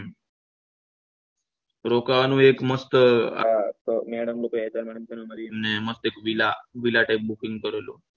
રોકાવાનું એક મસ્ત એક villa villa type booking કરેલું